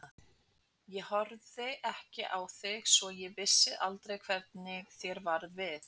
Ég horfði ekki á þig svo ég vissi aldrei hvernig þér varð við.